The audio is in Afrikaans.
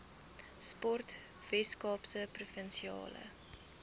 sport weskaapse provinsiale